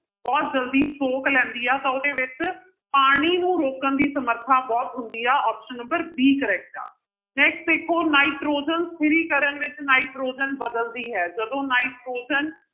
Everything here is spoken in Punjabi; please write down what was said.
ਬਹੁਤ ਜ਼ਲਦੀ ਸੋਖ ਲੈਂਦੀ ਹੈ ਤਾਂ ਉਹਦੇ ਵਿੱਚ ਪਾਣੀ ਨੂੰ ਰੋਕਣ ਦੀ ਸਮਰਥਾ ਬਹੁਤ ਹੁੰਦੀ ਆ option number b correct ਆ next ਦੇਖੋ ਨਾਇਟ੍ਰੋਜਨ ਸਥਿਰੀਕਰਨ ਵਿੱਚ ਨਾਇਟ੍ਰੋਜਨ ਬਦਲਦੀ ਹੈ ਜਦੋਂ ਨਾਇਟ੍ਰੋਜਨ